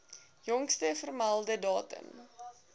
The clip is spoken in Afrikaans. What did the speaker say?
jongste vermelde datum